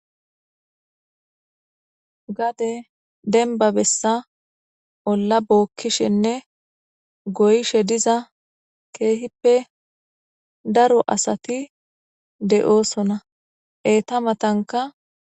Gade denbabessa olla bookkishenne goyishe diza keehippe daro asati de'oosona eeta matanka.